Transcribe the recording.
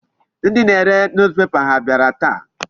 Ndị na-are newspaper ha abịara taa?